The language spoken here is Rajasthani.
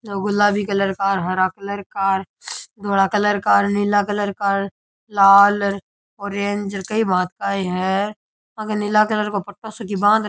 गुलाबी कलर का हरा कलर का धोला कलर का नीला कलर का लाल ऑरेंज कई भांत का ही है आंके नीला कलर को पट्टो सो की बांध --